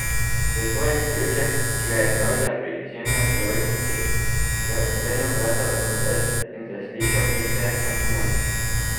S svojim ključem, ki ga je imel za izjemne priložnosti, je odklenil vrata v hotel in zaslišal klice na pomoč.